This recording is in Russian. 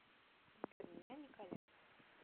сбер меня николя